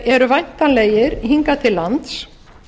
eru væntanlegir hingað til lands